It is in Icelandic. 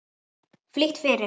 Flýtt fyrir.